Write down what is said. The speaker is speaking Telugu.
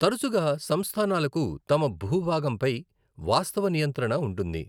తరచుగా సంస్థానాలకు తమ భూభాగంపై వాస్తవ నియంత్రణ ఉంటుంది.